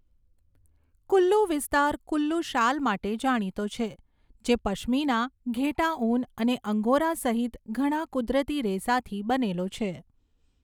કુલ્લુ વિસ્તાર કુલ્લુ શાલ માટે જાણીતો છે, જે પશ્મિના, ઘેટાં ઊન અને અંગોરા સહિત ઘણા કુદરતી રેસાથી બનેલો છે.